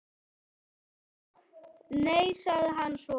Nei- sagði hann svo.